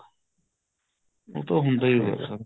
ਉਹ ਤਾਂ ਹੁੰਦਾ ਹੀ ਹੈ sir